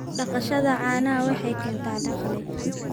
Dhaqashada caanaha waxay keentaa dakhli.